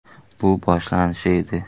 Bu boshlanishi edi.